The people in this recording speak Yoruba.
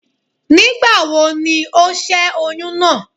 Nígbàwobni ó ṣẹ́ oyún náà?